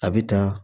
A bɛ dan